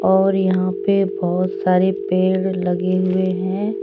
और यहाँ पे बहुत सारे पेड़ लगे हुए हैं।